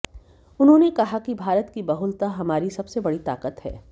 उन्होंने कहा कि भारत की बहुलता हमारी सबसे बड़ी ताकत है